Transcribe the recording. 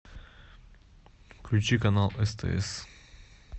включи канал стс